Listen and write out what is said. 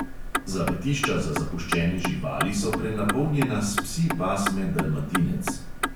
Zavetišča za zapuščene živali so prenapolnjena s psi pasme dalmatinec.